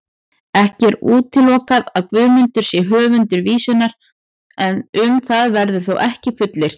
Ekki er útilokað að Guðmundur sé höfundur vísunnar, en um það verður þó ekkert fullyrt.